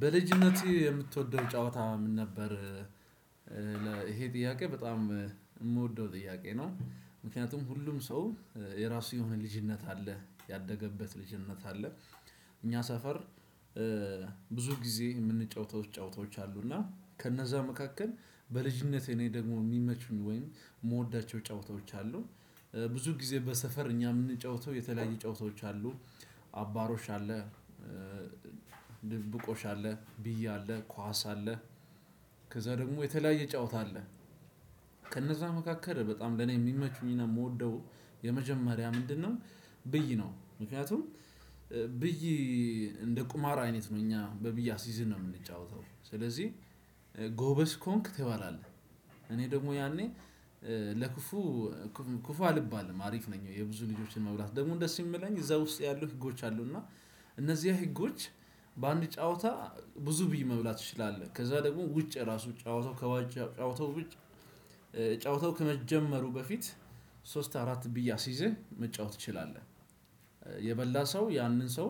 በልጅነትህ የምትወደው ጨዋታ ምን ነበር? ይሄ ጥያቄ በጣም ምወደው ጥያቄ ነው ምክንያቱም ሁሉም ሰው የራሱ የሆነ ልጅነት አለ ያደገበት ልጅነት። እኛ ሰፈር ብዙ ጊዜ የምንጫወተው ጫወታዎች እና ከነዛ መካከል በልጅነቴ እኔ ደግሞ ሚመቹኝ ወይም ምወዳቸው ጫወታዎች አሉ። ብዙ ጊዜ በሰፈር እኛ ምንጫወተው የተለያየ ጫወታዎች አሉ። አባሮች አለ። ድድብቆች አለ ብዬ አለ ኳስ አለ። ከዛ ደግሞ የተለያየ ጨዋታ አለ። ከነዛ መካከል በጣም ለኔ የሚመቹኝና ምወደው የመጀመሪያ ምንድነው? ብይ ነው። ምክንያቱም ብይ እንደ ቁማራ አይነት ነው እኛ በብይ አስይዝን ነው የምንጫወተው ስለዚህ። ጎበዝ ከሆንክ ትባላለህ። እኔ ደግሞ ያኔ ለክፉ ክፉ አልባልም አሪፍ ነኝ የብዙ ልጆችን መብላት ደግሞ ደስ ሚለኝ እዛ ውስጥ ያሉ ህጎች አሉ እና እነዚያ ህጎች። በአንድ ጨዋታ ብዙ ብይ መብላት ትችላለ ከዛ ደግሞ ውጭ ራሱ ጨዋታው ከዋጭ። ጨዋታው ጨዋታው በፊት ሶስት አራት ብይ አስይዘህ መጫወት ትችላለህ። የበላ ሰው ያንን ሰው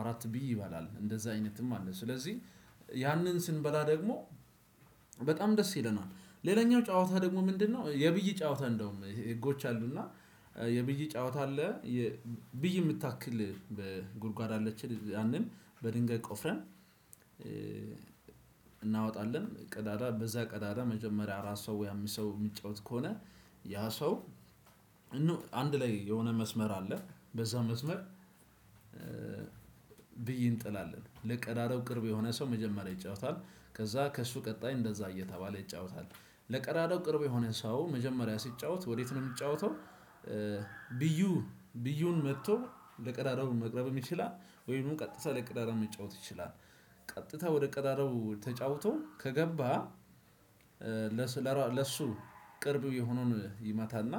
አራት ቢይ ይበላል እንደዛ አይነትም አለ ስለዚህ ያንን ስንበላ ደግሞ በጣም ደስ ይለናል። ሌላኛው ጨዋታ ደግሞ ምንድነው? የብይ ጨዋታ እንደውም ህጎች አሉና የብይ ጨዋታ አለ። ብይ ምታክል በጉድጓድ አለች ያንን በድንጋይ ቆፍረን። እናወጣለን ቀዳዳ በዛ ቀዳዳ መጀመሪያ አራት ሰው ወይ አምስት ሰው ሚጫወት ከሆነ ያ ሰው አንድ ላይ የሆነ መስመር አለ በዛ መስመር። ብዬ እንጥላለን ለቀዳዳው ቅርብ የሆነ ሰው መጀመሪያ ይጫወታል። ከዛ ከእሱ ቀጣይ እንደዛ እየተባለ ይጫወታል። ለቀዳዳው ቅርብ የሆነ ሰው መጀመሪያ ሲጫወት ወዴት ነው ሚጫወተው? ቢዩ ቢዩን መጥቶ ለቀዳዳው መቅረብ ይችላል ወይም ቀጥታ ለቀዳዳው መጫወት ይችላል። ቀጥታ ወደ ቀዳዳው ተጫውቶ ከገባ ለሱ ለሱ ቅርብ የሆነውን ይመታና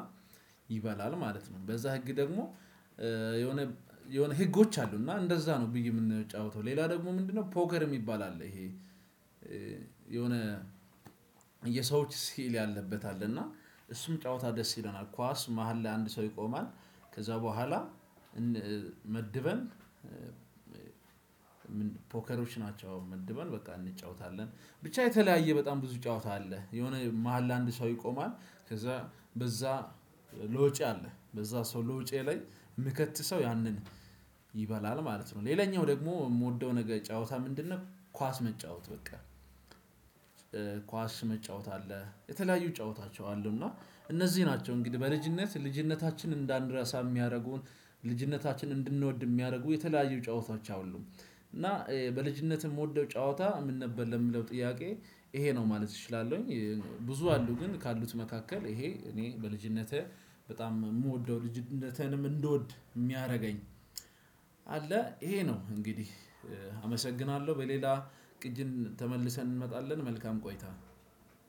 ይበላል ማለት ነው። በዛ ህግ ደግሞ። የሆነ የሆነ ህጎች አሉና እንደዛ ነው ብዬ ምንጫወተው ሌላ ደግሞ ምንድነው? ፖገር ሚባል አለ። ይሄ የሆነ የሰዎች ሲል ያለበት አለ እና እሱም ጨዋታ ደስ ይለናል። ኳስ መሃል ላይ አንድ ሰው ይቆማል። ከዛ በኋላ መድበን ፖከሮች ናቸው መድበን በቃ እንጫወታለን። ብቻ የተለያየ በጣም ብዙ ጫወታ አለ። የሆነ መሃል ለአንድ ሰው ይቆማል ከዛ በዛ ሎጬ አለ በዛ ሰው ሎጬ ላይ ምከት ሰው ያንን ይበላል ማለት ነው። ሌላኛው ደግሞ ምወደው ነገር ጨዋታ ምንድነው? ኳስ መጫወት በቃ። ኳስ መጫወት አለ የተለያዩ ጨዋታዎች አሉ እና እነዚህ ናቸው እንግዲህ በልጅነት ልጅነታችን እንዳንደርሳ ሚያደርጉን ልጅነታችን እንድንወድ ሚያደርጉ የተለያዩ ጨዋታዎች አሉ። እና በልጅነትም ወደው ጨዋታ ምን ነበር ለምለው ጥያቄ? ይሄ ነው ማለት እችላለሁኝ። ብዙ አሉ ግን ካሉት መካከል ይሄ እኔ በልጅነትህ በጣም ምወደው ልጅነትህንም እንድወድ የሚያደርገኝ። አለ ይሄ ነው እንግዲህ አመሰግናለሁ። በሌላ ቅጅን ተመልሰን እንመጣለን መልካም ቆይታ።